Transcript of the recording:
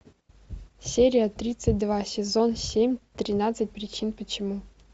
серия тридцать два сезон семь тринадцать причин почему